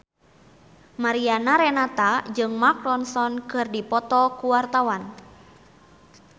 Mariana Renata jeung Mark Ronson keur dipoto ku wartawan